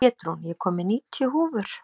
Pétrún, ég kom með níutíu húfur!